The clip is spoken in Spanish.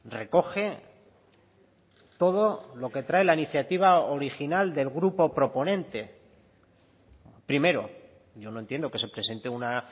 recoge todo lo que trae la iniciativa original del grupo proponente primero yo no entiendo que se presente una